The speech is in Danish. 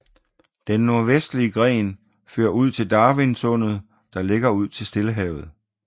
Den nordvestlige gren fører ud til Darwin Sundet der ligger ud til Stillehavet